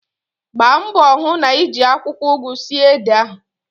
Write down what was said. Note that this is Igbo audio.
Gbambo hu n'iji akwukwo ugu sie ede ahu